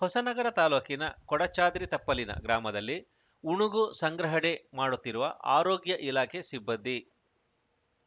ಹೊಸನಗರ ತಾಲೂಕಿನ ಕೊಡಚಾದ್ರಿ ತಪ್ಪಲಿನ ಗ್ರಾಮದಲ್ಲಿ ಉಣುಗು ಸಂಗ್ರಹಣೆ ಮಾಡುತ್ತಿರುವ ಆರೋಗ್ಯ ಇಲಾಖೆ ಸಿಬ್ಬಂದಿ